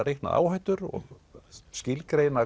reiknað áhættur og